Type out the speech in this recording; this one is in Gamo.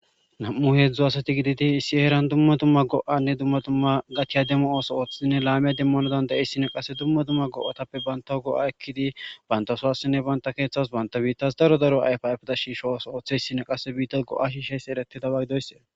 nam7u heedzdu asati gididi issi heeran dumma dumma go7anne dumma dumma gatiya demo ooso ooththinne laamiya demmonodan da7eyssine qase dumma dumma go7atappe banta go7a ekkidi bantasowassinne banta keeththas banta biittas daro daro ayf afeda shiisho ooso ooththeyssine qase biitta go7a shisheyse ereti dabagidoysse